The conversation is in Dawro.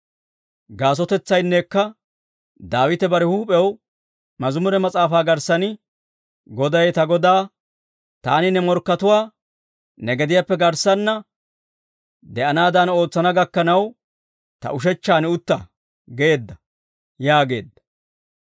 Gaasotetsaynneekka, Daawite bare huup'ew Mazimure Mas'aafaa garssan, « ‹Goday ta Godaa, «Taani ne morkkatuwaa, ne gediyaappe garssanna de'anaadan ootsana gakkanaw, ta ushechchaan utta» geedda› yaageedda.